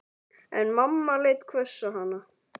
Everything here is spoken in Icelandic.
En mamma leit hvöss á hana.